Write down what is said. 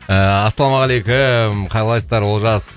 ыыы ассалаумағалейкум қалайсыздар олжас